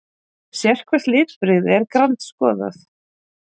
Sérhvert litbrigði er grandskoðað.